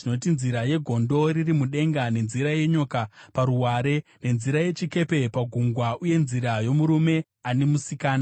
nzira yegondo riri mudenga, nenzira yenyoka paruware, nenzira yechikepe pagungwa, uye nzira yomurume ane musikana.